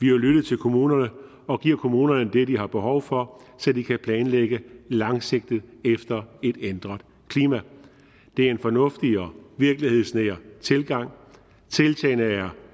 jo lyttet til kommunerne og giver kommunerne det de har behov for så de kan planlægge langsigtet efter et ændret klima det er en fornuftig og virkelighedsnær tilgang tiltagene er